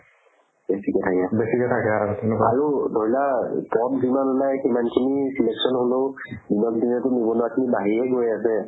বেছিকে থাকে আৰু ধৰি লোৱা পদ যিমান ওলাই সিমানখিনি selection হ'লেও ইমানদিনেতো নিবনুৱাখিনি বাঢ়িয়ে গৈ আছে